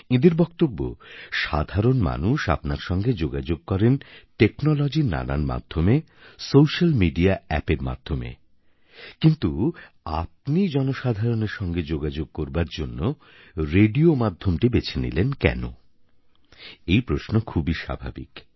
এঁদের বক্তব্য সাধারণ মানুষ আপনার সঙ্গে যোগাযোগ করেন টেকনোলজির নানান সোস্যাল মিডিয়া অ্যাপের মাধ্যমে কিন্তু আপনি জনসাধারনের সঙ্গে যোগাযোগ করার জন্য রেডিও মাধ্যম বেছে নিলেন কেন এই প্রশ্ন খুবই স্বাভাবিক